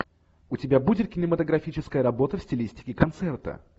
у тебя будет кинематографическая работа в стилистике концерта